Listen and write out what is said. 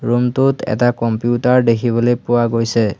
Room টোত এটা computer দেখিবলৈ পোৱা গৈছে।